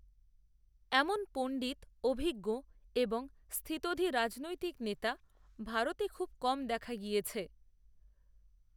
এমন পণ্ডিত অভিজ্ঞ এবং স্থিতধী রাজনৈতিক নেতা ভারতে খুব কম দেখা গিয়েছে